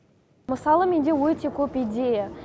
мысалы менде өте көп идея